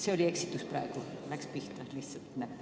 See oli eksitus, näpp läks lihtsalt pihta.